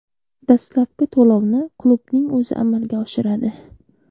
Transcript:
Dastlabki to‘lovni klubning o‘zi amalga oshiradi.